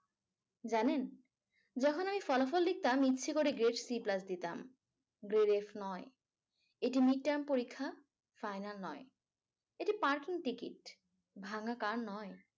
জানেন যখন আমি দিতাম ইচ্ছে করে দিতাম। এটি পরীক্ষা final নয় ।এটি parking ticket ভাঙ্গা car নয়।